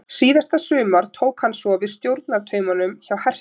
Síðasta sumar tók hann svo við stjórnartaumunum hjá Herthu.